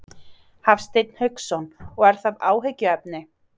Hafsteinn Hauksson: Og er það áhyggjuefni?